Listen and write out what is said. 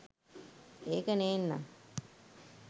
ඒක නේන්නං